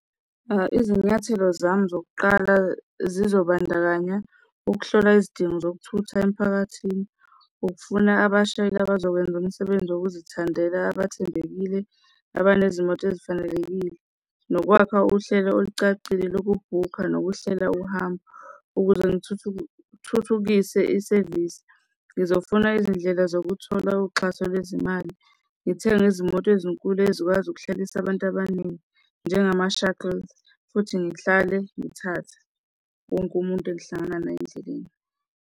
Izinyathelo zami zokuqala zizobandakanya ukuhlola izidingo zokuthutha emiphakathini, ukufuna abashayeli abazokwenza umsebenzi wokuzithandela abathembekile, abanezimoto ezifanelekile, nokwakha uhlelo olucacile lokubhukha nokuhlela uhambo ukuze ngithuthukise isevisi. Ngizofuna izindlela zokuthola uxhaso lwezimali, ngithenge izimoto ezinkulu ezikwazi ukuhlalisa abantu abaningi njengama-shuttles. Futhi ngihlale ngithathe wonke umuntu engihlangana naye endleleni.